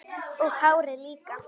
Og hárið líka!